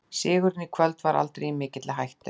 Sigurinn í kvöld var aldrei í mikilli hættu.